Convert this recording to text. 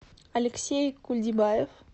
алексей кульдибаев